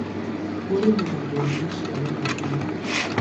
Ũrĩmĩragwo nĩ maciaro maguo